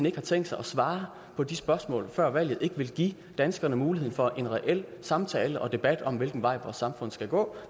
ikke har tænkt sig at svare på de spørgsmål før valget ikke vil give danskerne mulighed for en reel samtale og debat om hvilken vej vores samfund skal gå